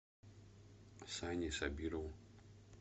сане сабирову